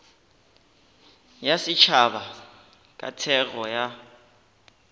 ya setšhaba ka thekgo ya